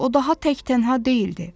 O daha tək tənha deyildi.